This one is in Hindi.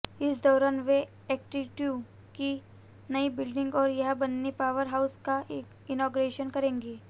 इस दौरान वे एकेटीयू की नई बिल्डिंग और यहां बने पावर हाउस का इनॉगरेशन करेंगे